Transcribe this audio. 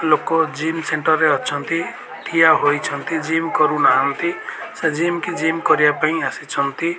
ଲୋକ gym centre ରେ ଅଛନ୍ତି ଠିଆ ହୋଇଅଛନ୍ତି ଜିମ କରୁନାହାଁନ୍ତି ସେ ଜିମ କି ଜିମ କରିବା ପାଇଁ ଆସିଛନ୍ତି।